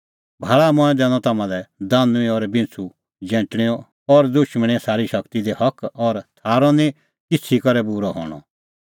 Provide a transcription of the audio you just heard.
भाल़ा मंऐं दैनअ तम्हां लै दानुईं और बिंच़ू जैंटणेंओ और दुशमणे सारी शगती दी हक और थारअ निं किछ़ी करै बूरअ हणअ